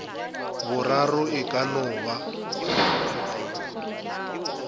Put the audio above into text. boraro e ka no ba